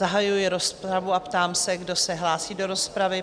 Zahajuji rozpravu a ptám se, kdo se hlásí do rozpravy?